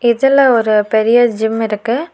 இதுல ஒரு பெரிய ஜிம் இருக்கு.